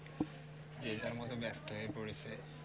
যে যার মত ব্যস্ত হয়ে পড়েছে